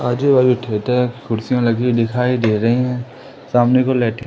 आजू बाजू थिएटर कुर्सियां लगी दिखाई दे रही है सामने को --